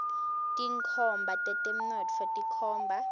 tinkhomba tetemnotfo tikhomba